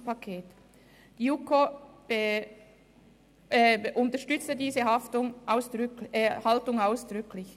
Die JuKo unterstützte diese Haltung ausdrücklich.